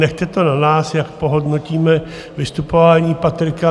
Nechte to na nás, jak ohodnotíme vystupování Patrika.